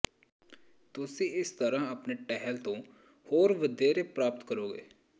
ਤੁਸੀਂ ਇਸ ਤਰ੍ਹਾਂ ਆਪਣੇ ਟਹਿਲ ਤੋਂ ਹੋਰ ਵਧੇਰੇ ਪ੍ਰਾਪਤ ਕਰੋਗੇ